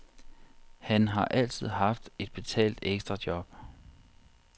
Han har altid haft et betalt ekstrajob.